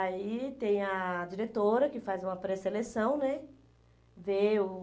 Aí tem a diretora que faz uma pré-seleção, né? Vê o